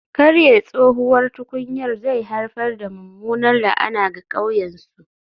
Karye tsohuwar tukunyar zai haifar da mummunar la'ana ga ƙauyen su